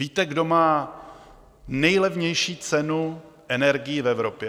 Víte, kdo má nejlevnější cenu energií v Evropě?